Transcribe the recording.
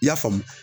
I y'a faamu